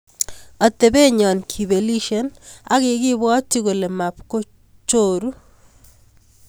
Atepet nyon kipelisie akikibwotchi kole mapkochoru